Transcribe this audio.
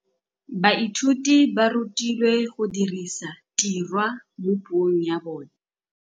Baithuti ba rutilwe go dirisa tirwa mo puong ya bone.